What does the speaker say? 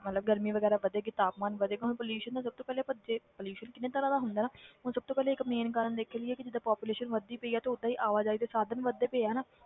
ਮਤਲਬ ਗਰਮੀ ਵਗ਼ੈਰਾ ਵਧੇਗੀ ਤਾਪਮਾਨ ਵਧੈਗਾ ਹੁਣ pollution ਦਾ ਸਭ ਤੋਂ ਪਹਿਲੇ ਆਪਾਂ ਜੇ pollution ਕਿੰਨੇ ਤਰ੍ਹਾਂ ਦਾ ਹੁੰਦਾ ਨਾ ਹੁਣ ਸਭ ਤੋਂ ਪਹਿਲੇ ਇੱਕ ਮੇਨ ਕਾਰਨ ਦੇਖ ਇਹੀ ਆ ਕਿ ਜਿੱਦਾਂ population ਵੱਧਦੀ ਪਈ ਆ ਤੇ ਓਦਾਂ ਹੀ ਆਵਾਜ਼ਾਈ ਦੇ ਸਾਧਨ ਵੱਧਦੇ ਪਏ ਆ ਨਾ,